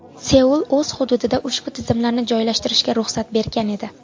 Seul o‘z hududida ushbu tizimlarni joylashtirishga ruxsat bergan edi.